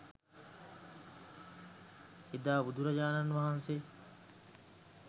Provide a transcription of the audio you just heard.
එදා බුදුරජාණන් වහන්සේ